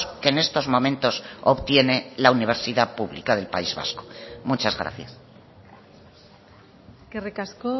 que en estos momentos obtiene la universidad pública del país vasco muchas gracias eskerrik asko